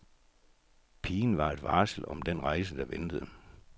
Pigen var et varsel om den rejse, der ventede.